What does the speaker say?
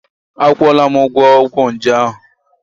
Akwụọla m ụgwọ ọgwụ nje ahụ.